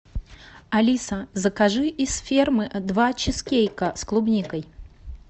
алиса закажи из фермы два чизкейка с клубникой